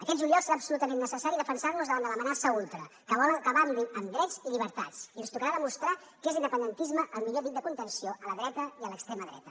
aquest juliol serà absolutament necessari defensar nos davant de l’amenaça ultra que vol acabar amb drets i llibertats i ens tocarà demostrar que és l’independentisme el millor dic de contenció a la dreta i a l’extrema dreta